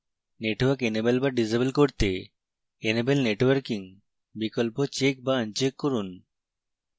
network enable/disable করতে enable networking বিকল্প check/uncheck করুন